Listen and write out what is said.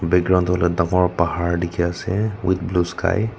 background do hoile dangor pahar dikhe ase with blue sky .